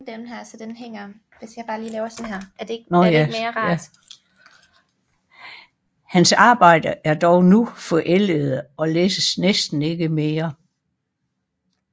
Hans arbejder er dog nu forældede og læses næsten ikke mere